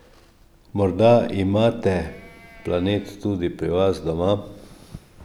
Morda imate Planet tudi pri vas doma?